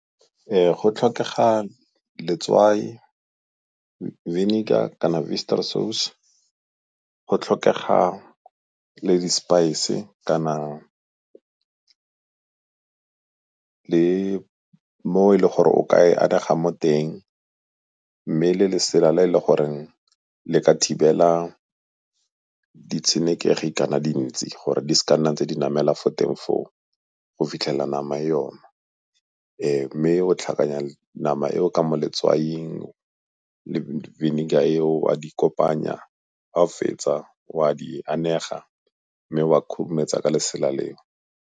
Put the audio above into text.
Go tlhokega letswai, vinegar kana sauce, go tlhokega le di-spice kana le mo e le gore o ka e anega mo teng, mme le lesela le e le goreng le ka thibela ditshenekegi kana dintsi gore di seka nna ntse di namela fo teng foo go fitlhela nama e oma. Mme o tlhakanya nama eo ka mo letswaing le vinegar eo o a di kopanya, ga o fetsa o a di anega mme wa khurumetsa ka lesela leo.